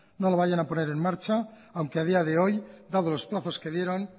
no la vayan a poner en marcha aunque a día de hoy dados los plazos que dieron